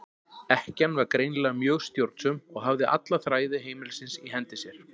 Ekkjan var greinilega mjög stjórnsöm og hafði alla þræði heimilisins í hendi sér.